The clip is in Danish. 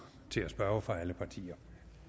til at spørge fra alle partier